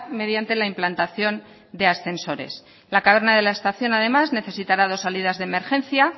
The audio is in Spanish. mediante la implantación de ascensores la caverna de la estación además necesitará dos salidas de emergencia